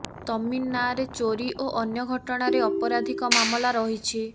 ତମିନ ନାଁରେ ଚୋରୀ ଓ ଅନ୍ୟ ଘଟଣାରେ ଅପରାଧିକ ମାମଲା ରହିଛି